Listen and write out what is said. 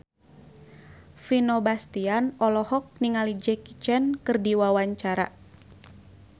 Vino Bastian olohok ningali Jackie Chan keur diwawancara